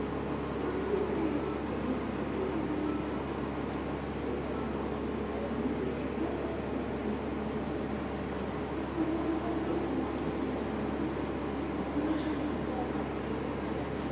maayo keettan dumma dumma quutta naatunne gitaa mayyoy bayizettiyo keettaa. ha sohuwan dumma dumma lo'iya mayyoti irkkaasha marccuwan beettiyo sohuwa.